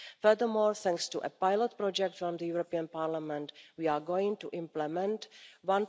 this. Furthermore, thanks to a pilot project from the European Parliament, we are going to implement